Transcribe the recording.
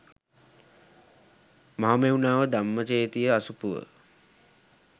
මහමෙව්නාව ධම්මචේතිය අසපුව